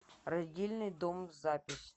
родильный дом запись